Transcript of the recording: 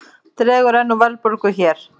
Dregur enn úr verðbólgu hér